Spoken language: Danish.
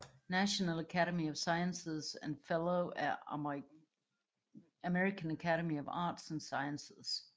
National Academy of Sciences og Fellow af American Academy of Arts and Sciences